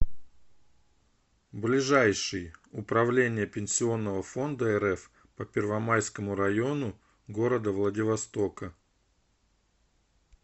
ближайший управление пенсионного фонда рф по первомайскому району г владивостока